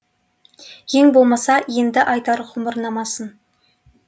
ең болмаса енді айтар ғұмырнамасын